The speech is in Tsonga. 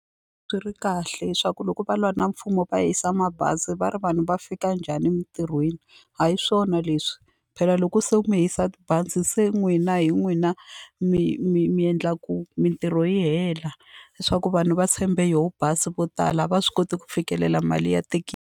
Swi ri kahle leswaku loko va lwa na mfumo va hisa mabazi va ri vanhu va fika njhani emintirhweni a hi swona leswi phela loko se mi hisa tibazi se n'wina hi n'wina mi mi mi endlaku mintirho yi hela leswaku vanhu va tshembe yoho bazi vo tala a va swi koti ku fikelela mali ya .